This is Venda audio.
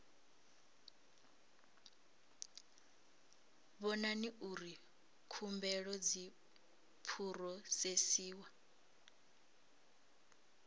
vhona uri khumbelo dzi phurosesiwa